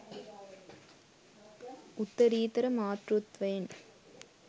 උත්තරීතර මාතෘත්වයෙන්